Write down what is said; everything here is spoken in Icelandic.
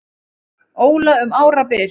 Óla um árabil.